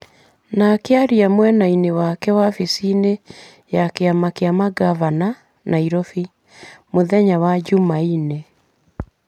No akĩaria mwena-inĩ wake wabici-inĩ ya kĩama kĩa mangavana, Nairobi, mũthenya wa jumaine,